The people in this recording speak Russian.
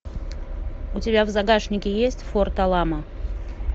у тебя в загашнике есть форт аламо